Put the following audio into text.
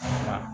Unhun